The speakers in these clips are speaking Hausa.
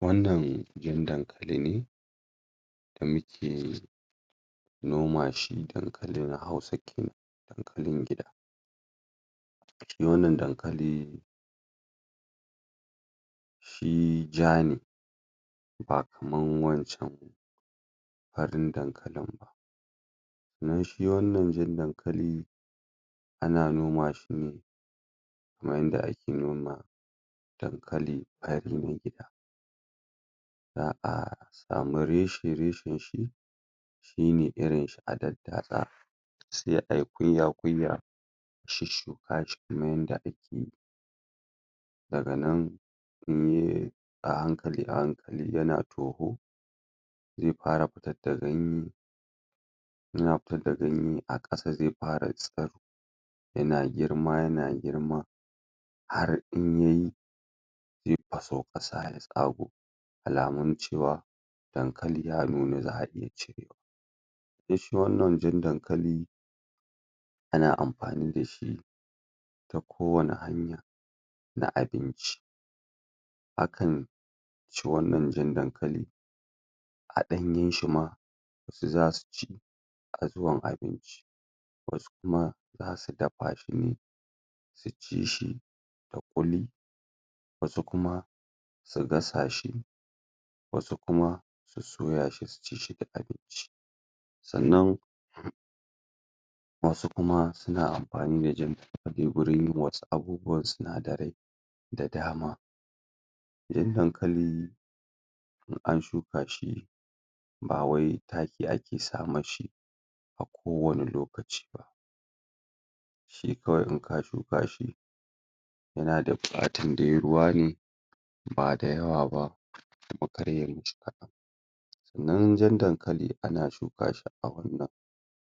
wannan gin dankali ne da muke noma shi dankali na hausa kenan dankalin gida shi wannan dankali shi ja ne ba kaman wancan ba farin dankalin ba sannan shi wannan jan dankali ana noma shine kamar yanda ake noma dankali fari na gida za'a samu reshe reshen shi shine irin shi a daddatsa sai ayi kuyya kuyya shusshuka shi kamar yanda ake daga nan inye a hankali a hankali zai fara fitar da ganye yana fitar da ganye a kasa zai fara tsiro yana girma yana girma har in yayi zai faso kasa ya tsago alamun cewa dankali ya nuna za'aiya cirewa sanna shi wannan jan dankal ana amfani da shi ta kowane hanya na abinci hakan shi wannan jan dankali a danyen shima zasu ci a zuwan abinci wasu kuma zasu dafa shine su ci shi da kuli wasu i kuma su gasa shi wasu kuma su soyashi su ci shi da abinci sannan wasu kuma suna amfani da jan gurin yin wasu abubuwan sinadarai da dama jan dankali in an shuka shi bawai taki ake sa mashi a kowane lokaci ba shi kawai inka shuka shi yana da bukatan dai ruwa ne ba da yawa ba kuma kar yayi mashi kadan sannan jan dankali ana shuka shi a wannan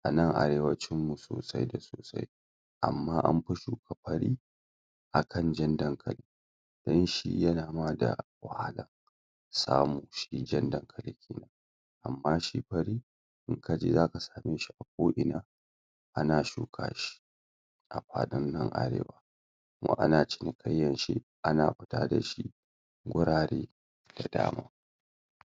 a nan arewacin mu sosai da sosai amma anfi suka fari akan jan dankali don shi yana ma da wahala samu shi jan dankali amma shi fari inkaje zaka same shi a ko'ina ana shuka shi a fadin nan arewa kuma ana cinikaiyar shi ana fita dashi gurare da dama